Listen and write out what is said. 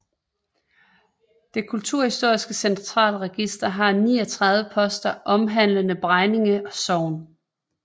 Det kulturhistoriske Centralregister har 39 poster omhandlende Bregninge Sogn